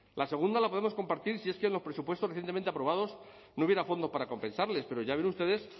la segunda la podemos compartir si es que en los presupuestos recientemente aprobados no hubiera fondo para compensarles pero ya ven ustedes